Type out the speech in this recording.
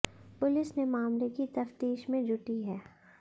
police ने मामले की तफ्तीश में जुटी है